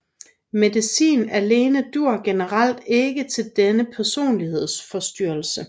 Medicin alene dur generelt ikke til denne personlighedsforstyrrelse